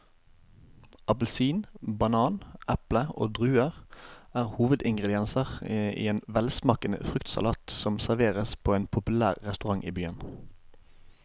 Appelsin, banan, eple og druer er hovedingredienser i en velsmakende fruktsalat som serveres på en populær restaurant i byen.